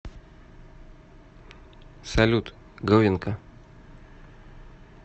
салют говенка